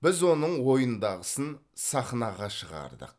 біз оның ойындағысын сахнаға шығардық